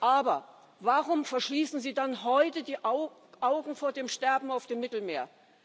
Aber warum verschließen Sie dann heute die Augen vor dem Sterben auf dem Mittelmeer?